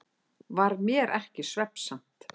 Varð mér ekki svefnsamt.